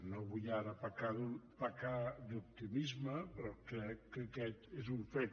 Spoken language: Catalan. no vull ara pecar d’optimisme però crec que aquest és un fet